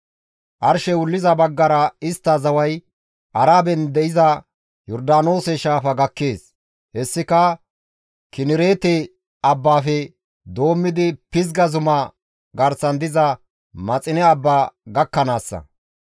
Arshey wulliza baggara istta zaway Araben de7iza Yordaanoose shaafa gakkees; hessika Kinereete abbaafe doommidi Pizga zuma garsan diza Maxine abba gakkanaassa.